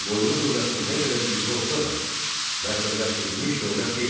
Ağqoyunlu dövləti nə qədər güclü olsa da, mərkəzləşdirilmiş dövlət deyildi.